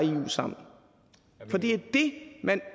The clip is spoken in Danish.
sammen for det er det man